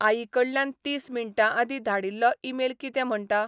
आईकडल्यान तीस मिंटांआदीं धाडील्लो ईमेल कितें म्हणटा?